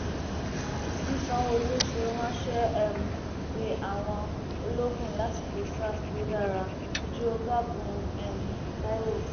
bí sanwóolu ṣe ránṣẹ um pé àwọn ológun lásìkò sars ló dára juọgágun um taiwo